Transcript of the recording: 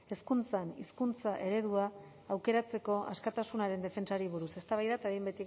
hezkuntzan hizkuntza eredua aukeratzeko askatasunaren defentsari buruz eztabaida eta behin